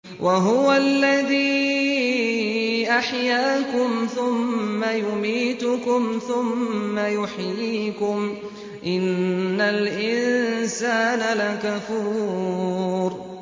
وَهُوَ الَّذِي أَحْيَاكُمْ ثُمَّ يُمِيتُكُمْ ثُمَّ يُحْيِيكُمْ ۗ إِنَّ الْإِنسَانَ لَكَفُورٌ